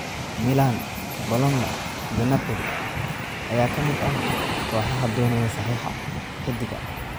Milan, Bologna iyo Napoli ayaa ka mid ah kooxaha doonaya saxiixa xiddiga.